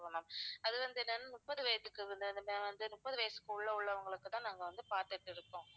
ma'am அது வந்து என்னனா முப்பது வயசுக்கு முப்பது வயசுக்கு உள்ள உள்ளவங்களுக்கு தான் நாங்க வந்து பார்த்திட்டு இருக்கோம்